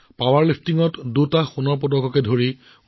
৯ বছৰ বয়সত মাকক হেৰুৱাইও তেওঁ নিজকে নিৰুৎসাহিত হবলৈ নিদিলে